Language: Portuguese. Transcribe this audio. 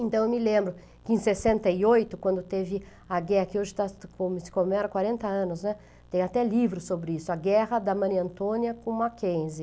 Então eu me lembro que em sessenta e oito, quando teve a guerra que hoje está, como se como era, quarenta anos, né, tem até livro sobre isso, A Guerra da Maria Antônia com Mackenzie.